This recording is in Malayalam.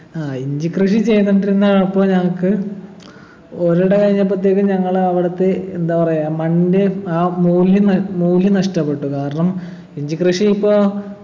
ആഹ് ഇഞ്ചി കൃഷി ചെയ്തുകൊണ്ടിരുന്ന അപ്പൊ ഞങ്ങക്ക് ഒരിട കഴിഞ്ഞപ്പത്തേക്കും ഞങ്ങൾ അവിടുത്തെ എന്താ പറയാ മണ്ണിൻ്റെ ആ മൂല്യം ന മൂല്യം നഷ്ടപ്പെട്ടു കാരണം ഇഞ്ചി കൃഷി ഇപ്പോ